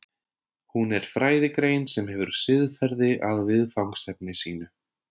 Hún er fræðigrein sem hefur siðferði að viðfangsefni sínu.